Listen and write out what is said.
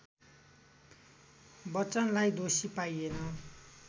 बच्चनलाई दोषी पाइएन